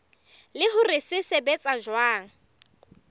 le hore se sebetsa jwang